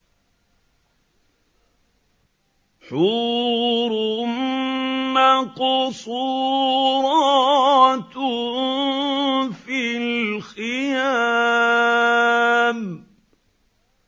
حُورٌ مَّقْصُورَاتٌ فِي الْخِيَامِ